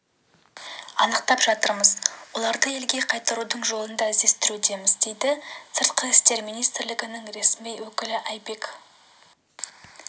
анықтап жатырмыз оларды елге қайтарудың жолын да іздестірудеміз дейді сыртқы істер министрлігінің ресми өкілі айбек